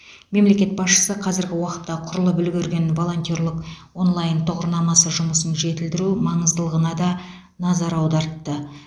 мемлекет басшысы қазіргі уақытта құрылып үлгерген волонтерлық онлайн тұғырнамасы жұмысын жетілдіру маңыздылығына да назар аудартты